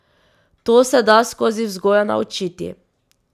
To se da skozi vzgojo naučiti.